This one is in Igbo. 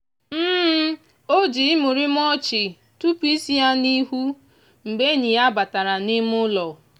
o jii imurimu ọchị tụpụ isi ya n'ihu mgbe enyi ya batara n'ime ụlọ.